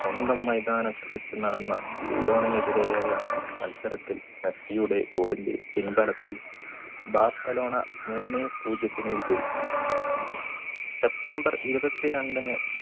സ്വന്തം മൈതാനത്ത് വെച്ച് നടന്ന ലിയോണിനെതിരെയായ മത്സരത്തിൽ മെസ്സിയുടെ goal ന്റെ പിൻബലത്തിൽ ബാർസലോണ മൂന്നേ പൂജ്യത്തിന് വിജയിച്ചു september ഇരുപത്തിരണ്ടിന്